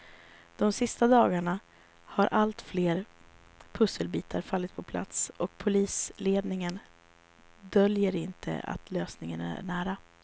De sista dagarna har allt fler pusselbitar fallit på plats och polisledningen döljer inte att lösningen är nära.